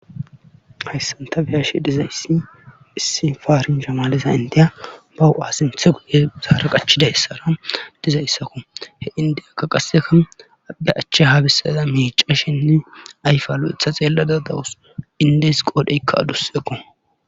hayssanta biyashe dizayssi issi faarin shamalesa indiya bau7asinthe guye saara qachiday ssara dizayssako he indeyaka qasseka abe achche haabissaza meica shinne ayfalo7etha xeellada dawus indes qoodheykka aduseqo